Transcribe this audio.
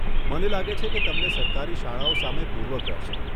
મને લાગે છે કે તમને સરકારી શાળાઓ સામે પૂર્વગ્રહ છે.